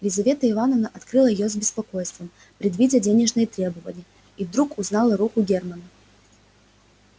лизавета ивановна открыла её с беспокойством предвидя денежные требования и вдруг узнала руку германна